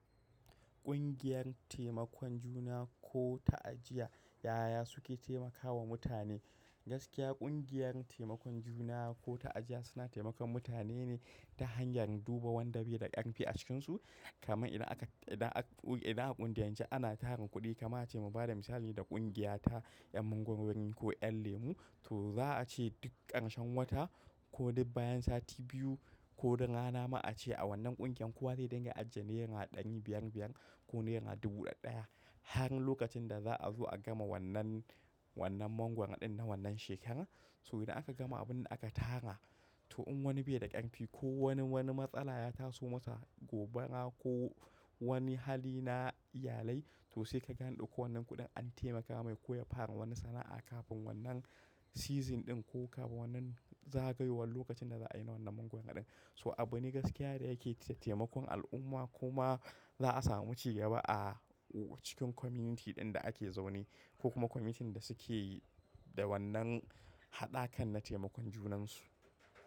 Ƙungiyar taimakon juna ko ta'ajiya ya'ya suke taimakawa mutane. Gaskiya ƙungiyar taimakon juna ko ta ajiya suna taimakon mutane ne ta hanyar duba wanda bai da ƙanfi a cikinsu. Kaman idan aka, idan aka, idan aka ƙungiyan ce ana tarin kuɗi kamar ace mu bada misali da ƙungiya ta 'yan mangwarori ko 'yan lemu. To za a ce duk ƙarshen wata ko duk bayan sati biyu ko duk rana ma a ce a wannan ƙungiyar kowa zai dinga ajiye naira ɗari biyar-biyar ko naira dubu ɗaɗɗa ya har lokacin da za a zo a gama wannan, wannan mangwaron ɗin na wannan shekara. So idan aka gama abin da aka tara, to in wani bai da ƙanfi ko wani, wani matsala ya taso masa gobara ko wani hali na iyalai, to sai kaga andauko wannan kuɗin an taimaka mai ko ya fara wani sana'a kafin wannan season ɗin ko kafin wannan zagayowar lokacin da za a yi na wannan neman kuda ɗin. So abune gaskiya da yake taimakon al'umma kuma za a samu ci gaba a cikin community ɗin da ake zaune ko kuma community da suke da wannan haɗa kan na taimakon junansu.